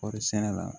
Kɔɔri sɛnɛ la